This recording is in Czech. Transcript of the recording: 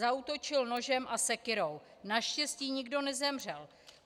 Zaútočil nožem a sekyrou, naštěstí nikdo nezemřel.